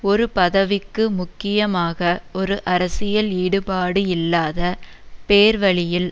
ஒரு பதவிக்கு முக்கியமாக ஒரு அரசியல் ஈடுபாடு இல்லாத பேர்வழியில்